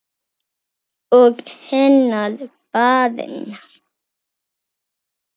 Og hennar barn.